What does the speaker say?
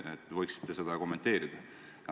Te võiksite seda kommenteerida.